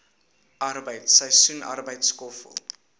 arbeid seisoensarbeid skoffel